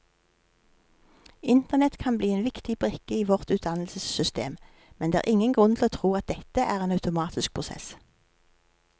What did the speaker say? Internett kan bli en viktig brikke i vårt utdannelsessystem, men det er ingen grunn til å tro at dette er en automatisk prosess.